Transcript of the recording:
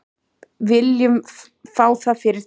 Viljið fá það fyrir þingrof?